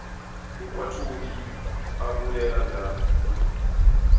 ekwa todi a bolela bjalo